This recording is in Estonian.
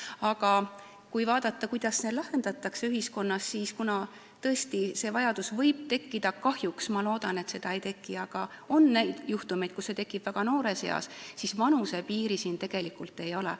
Aga kui vaadata, kuidas seda küsimust ühiskonnas lahendatakse, siis kuna see vajadus võib tekkida kahjuks ka väga noores eas – ma loodan, et seda ei teki, aga on selliseid juhtumeid –, siis vanusepiiri siin tegelikult ei ole.